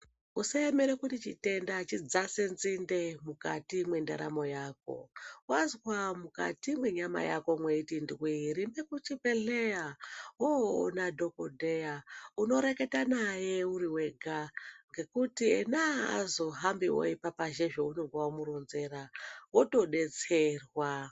Usa emere kuti chitenda chidzase nzinde mukati mwe ndaramo yako wazwa mukati mwe nyama yako mweiti ndwi rumbe ku chibhedhleya woona dhokodheya uno reketa naye uri wega ngekuti ena aazo hambiwo eipapazha zvaunenge wamu ronzera woto detserwa.